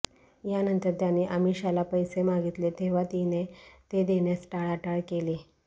यानंतर त्यांनी अमीषाला पैसे मागितले तेव्हा तिने ते देण्यास टाळाटाळ केली